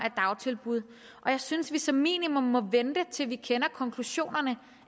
af dagtilbud og jeg synes at vi som minimum må vente til vi kender konklusionerne